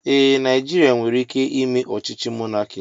Ee, Naijiria nwere ike ime ochíchí mọnaki